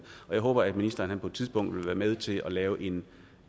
og jeg håber at ministeren på et tidspunkt vil være med til at lave en